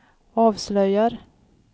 avslöjar